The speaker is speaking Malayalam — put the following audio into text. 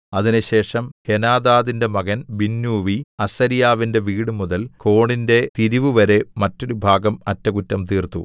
അതിന്‍റെശേഷം ഹേനാദാദിന്റെ മകൻ ബിന്നൂവി അസര്യാവിന്റെ വീടുമുതൽ കോണിന്റെ തിരിവുവരെ മറ്റൊരുഭാഗം അറ്റകുറ്റം തീർത്തു